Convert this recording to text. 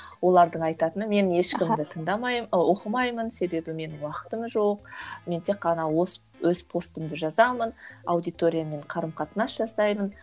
олардың айтатыны мен ешкімді тыңдамаймын ы оқымаймын себебі менің уақытым жоқ мен тек қана өз постымды жазамын аудиторияммен қарым қатынас жасаймын